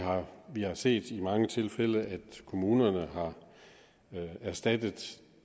vi har set i mange tilfælde at kommunerne har erstattet